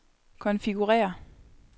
konfigurér